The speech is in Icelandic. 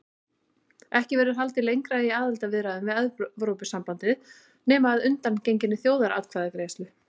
Ekki verður haldið lengra í aðildarviðræðum við Evrópusambandið nema að undangenginni þjóðaratkvæðagreiðslu.